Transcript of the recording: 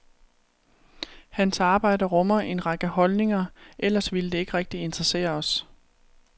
Hans arbejde rummer en række holdninger, ellers ville det ikke rigtig interessere os.